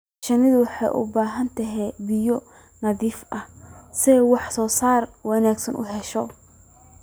Shinnidu waxay u baahan tahay biyo nadiif ah si ay wax soo saar wanaagsan u hesho.